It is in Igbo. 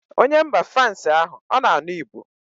Onye mba frans ahụ ọ na-anụ Igbo